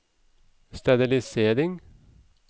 sterilisering